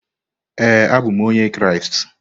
Ee, abụ m onye Kraịst.